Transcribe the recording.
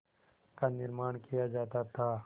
का निर्माण किया जाता था